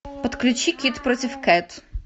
подключи кид против кэт